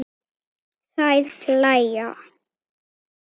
Þær hlæja.